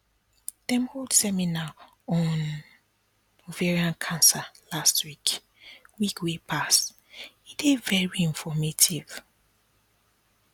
dem hold seminar on ovarian cancer last week week wey pass e dey very informative